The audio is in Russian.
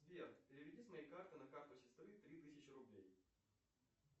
сбер переведи с моей карты на карту сестры три тысячи рублей